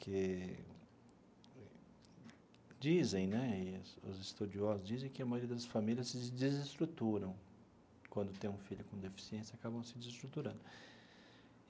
que dizem né, os estudiosos dizem que a maioria das famílias se desestruturam quando tem um filho com deficiência, acabam se desestruturando.